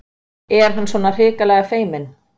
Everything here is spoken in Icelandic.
Er hann svona hrikalega feiminn?